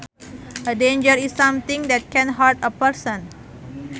A danger is something that can hurt a person